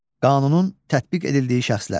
Qanunun tətbiq edildiyi şəxslər.